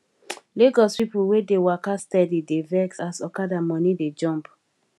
lagos people wey dey waka steady dey vex as okada money dey jump